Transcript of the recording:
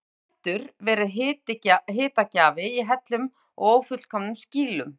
loks hefur eldur verið hitagjafi í hellum og ófullkomnum skýlum